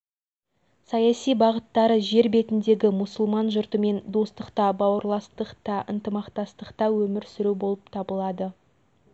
дін жолы тығырыққа тірейді деп түсінетін біздің кейбір ағайындар бұл елдің болашағына күдікпен қарауы мүмкін